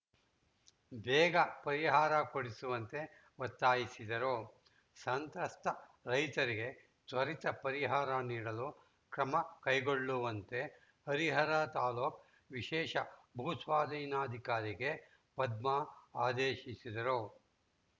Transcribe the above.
ಬೇಗ ಪರಿಹಾರ ಕೊಡಿಸುವಂತೆ ಒತ್ತಾಯಿಸಿದರು ಸಂತ್ರಸ್ಥ ರೈತರಿಗೆ ತ್ವರಿತ ಪರಿಹಾರ ನೀಡಲು ಕ್ರಮ ಕೈಗೊಳ್ಳುವಂತೆ ಹರಿಹರ ತಾಲ್ಲುಕು ವಿಶೇಷ ಭೂಸ್ವಾಧೀನಾಧಿಕಾರಿಗೆ ಪದ್ಮಾ ಆದೇಶಿಸಿದರು